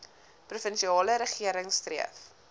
provinsiale regering streef